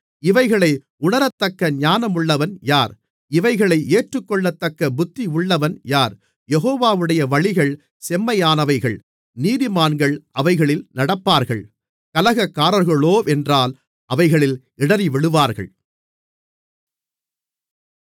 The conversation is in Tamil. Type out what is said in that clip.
இவைகளை உணரத்தக்க ஞானமுள்ளவன் யார் இவைகளை ஏற்றுக்கொள்ளத்தக்க புத்தியுள்ளவன் யார் யெகோவாவுடைய வழிகள் செம்மையானவைகள் நீதிமான்கள் அவைகளில் நடப்பார்கள் கலகக்காரர்களோவென்றால் அவைகளில் இடறிவிழுவார்கள்